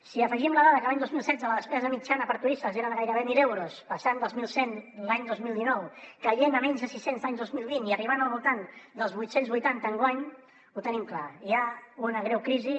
si hi afegim la dada que l’any dos mil setze la despesa mitjana per turista era de gairebé mil euros passant dels mil cent l’any dos mil dinou caient a menys de sis cents l’any dos mil vint i arribant al voltant dels vuit cents i vuitanta enguany ho tenim clar hi ha una greu crisi